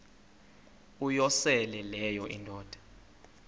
uyosele leyo indoda